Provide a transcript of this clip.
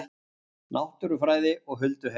Náttúrufræði og hulduheimar